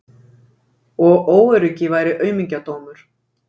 Og óöryggi væri aumingjadómur.